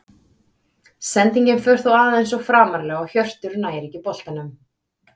Sendingin fer þó aðeins of framarlega og Hjörtur nær ekki til boltans.